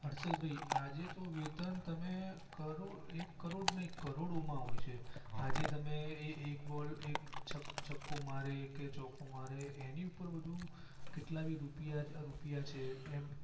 હર્ષદભાઈ આજે તો વેતન તમે એક કરોડ નહિ કરોડો માં આવે છે આજે તમે એક બોલ એક છક્કો મારે કે ચોગ્ગો મારે એની ઉપર બધું કેટલા બી રૂપિયા છે એમ